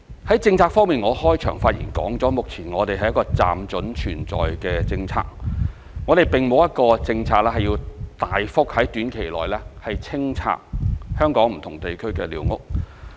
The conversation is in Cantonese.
在政策方面，我在開場發言中指出，目前這是一個"暫准存在"的政策，我們並沒有一個政策是要在短期內大幅清拆香港不同地區的寮屋。